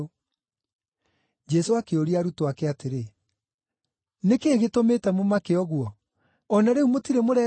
Jesũ akĩũria arutwo ake atĩrĩ, “Nĩ kĩĩ gĩtũmĩte mũmake ũguo? O na rĩu mũtirĩ mũretĩkia?”